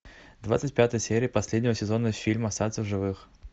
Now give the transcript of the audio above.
двадцать пятая серия последнего сезона фильма остаться в живых